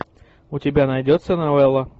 у тебя найдется новелла